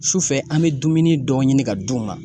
Sufɛ an bɛ dumuni dɔ ɲini ka d'u ma.